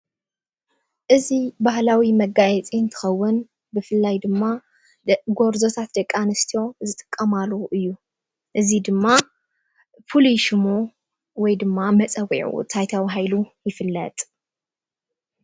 እዚ ባህላዊ መጋየፂ እንትኸውን ብፍላይ ድማ ጎርዞታት ደቂ ኣንስትዮ ዝጥቀማሉ እዩ፡፡ እዙይ ድማ ፍሉይ ሽሙ ወይድማ መፀዊዑኡ እንታይ ተባሂሉ ይፍለጥ?